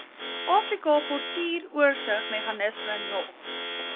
afrika portuuroorsigmeganisme nog